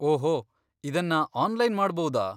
ಓಹೊ, ಇದನ್ನ ಆನ್ಲೈನ್ ಮಾಡಭೌದಾ?